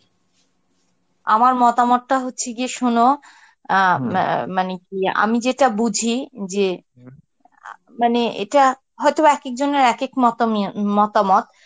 আমার মতামত টা হচ্ছে গিয়ে শোনো, আ মা~ মানে কি আমি যেটা বুঝি যে আ মানে এটা হয়তো বা একেকজনের এক এক মতামিয়ে~ মতামত.